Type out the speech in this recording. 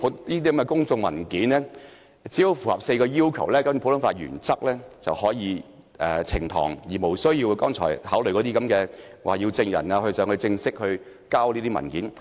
只要這些公眾文件符合4項要求，便可以根據普通法原則呈堂，無須考慮剛才所說的要證人正式提交文件。